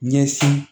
Ɲɛsin